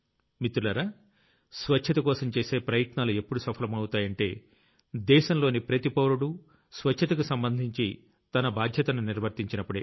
మిత్రులారా స్వచ్ఛతకోసం చేసే ప్రయత్నాలు ఎప్పుడు సఫలమవుతాయంటే దేశంలోని ప్రతి పౌరుడూ స్వచ్ఛతకు సంబంధించి తన బాధ్యతను నిర్వర్తించినప్పుడే